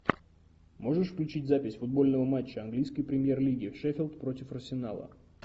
можешь включить запись футбольного матча английской премьер лиги шеффилд против арсенала